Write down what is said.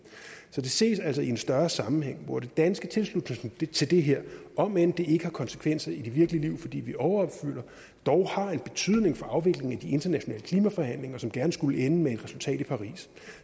så det ses altså i en større sammenhæng hvor den danske tilslutning til det her om end det ikke har konsekvenser i det virkelige liv fordi vi overopfylder dog har en betydning for afviklingen af de internationale klimaforhandlinger som gerne skulle ende med et resultat i paris